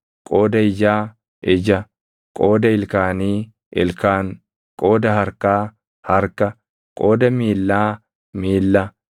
qooda ijaa, ija; qooda ilkaanii, ilkaan; qooda harkaa, harka; qooda miillaa, miilla;